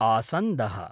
आसन्दः